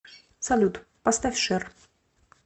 салют поставь шер